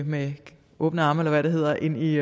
med åbne arme eller hvad det hedder ind i